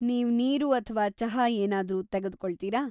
ನೀವ್ ನೀರು ಅಥ್ವಾ ಚಹಾ ಏನಾದ್ರೂ ತೆಗೆದ್ಕೊಳ್ತೀರಾ?